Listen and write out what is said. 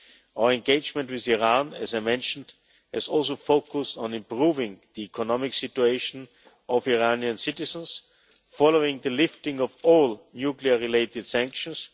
Our engagement with Iran, as I mentioned, has also focused on improving the economic situation of Iranian citizens following the lifting of all nuclear related sanctions.